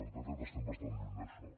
de fet estem bastant lluny d’això